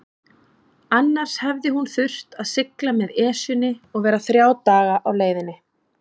Annars hefði hún þurft að sigla með Esjunni og vera þrjá daga á leiðinni.